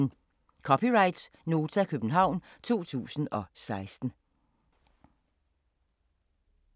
(c) Nota, København 2016